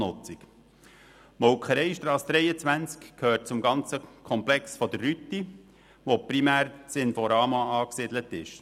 Die Molkereistrasse 23 gehört zum Komplex der Rüti, wo primär das Inforama angesiedelt ist.